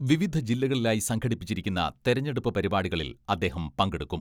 വിവിധ ജില്ലകളിലായി സംഘടിപ്പിച്ചിരിക്കുന്ന തെരഞ്ഞെടുപ്പ് പരിപാടികളിൽ അദ്ദേഹം പങ്കെടുക്കും.